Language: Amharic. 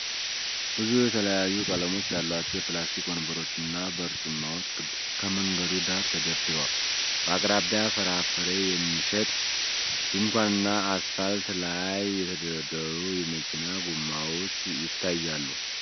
ብዙ የተለያዩ ቀለሞች ያሏቸው የፕላስቲክ ወንበሮችና በርጩማዎች ከመንገድ ዳር ተደርድረዋል። በአቅራቢያ ፍራፍሬ የሚሸጥ ድንኳንና አስፋልት ላይ የተደረደሩ የመኪና ጎማዎች ይታያሉ።